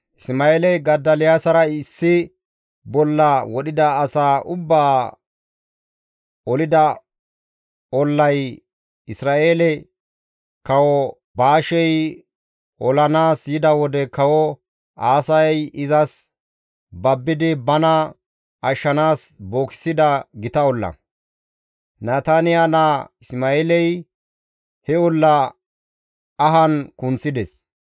Isma7eeley Godoliyaasara issi bolla wodhida asaa ubbaa olida ollay Isra7eele kawo Baashey olanaas yida wode Kawo Aasay izas babbidi bana ashshanaas bookissida gita olla. Nataniya naa Isma7eeley he olla ahan kunththides.